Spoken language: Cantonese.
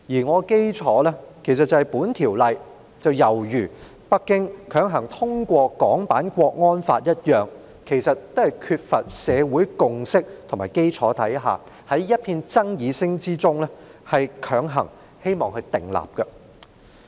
我的基礎是《條例草案》猶如北京強行訂立港區國安法一樣，在缺乏社會共識的基礎下，希望在一片爭議聲中強行通過《條例草案》。